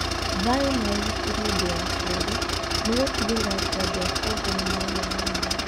Thayũ na Ũgitĩri Ũndũ wa kerĩ, nĩ gũtigĩrĩra atĩ andũ a Congo nĩ magĩa na hinya.